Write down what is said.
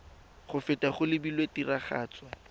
go feta go lebilwe tiragatso